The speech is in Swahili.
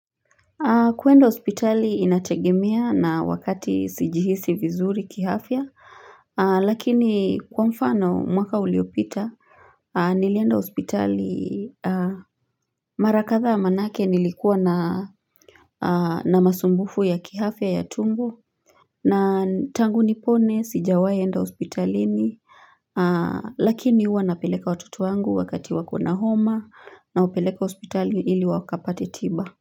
Kwenda hospitali inategemea na wakati sijihisi vizuri kiafya, lakini kwa mfano, mwaka uliopita, nilienda hospitali mara kadhaa maanake nilikuwa na na masumbufu ya kiafya ya tumbo, na tangu nipone sijawahi enda hospitalini, lakini huwa napeleka watoto wangu wakati wakona homa nawapeleka hospitali ili wakapate tiba.